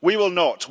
We will not.